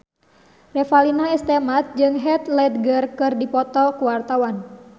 Revalina S. Temat jeung Heath Ledger keur dipoto ku wartawan